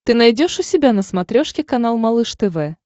ты найдешь у себя на смотрешке канал малыш тв